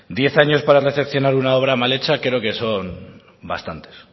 diez años para recepcionar una obra mal hecha creo que son bastantes